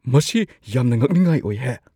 ꯃꯁꯤ ꯌꯥꯝꯅ ꯉꯛꯅꯤꯡꯉꯥꯏ ꯑꯣꯏꯍꯦ !